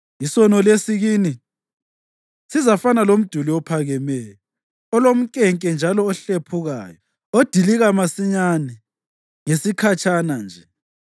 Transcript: isono lesi kini sizafana lomduli ophakemeyo, olomnkenke njalo ohlephukayo, odilika masinyane, ngesikhatshana nje.